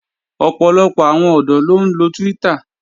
Ọ̀pọ̀lọpọ̀ àwọn ọ̀dọ́ ló ń lo Twitter